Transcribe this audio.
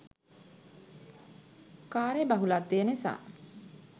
කාර්යබහුලත්වය නිසා